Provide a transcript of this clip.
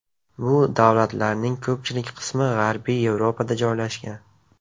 Bu davlatlarning ko‘pchilik qismi g‘arbiy Yevropada joylashgan.